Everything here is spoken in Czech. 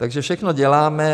Takže všechno děláme.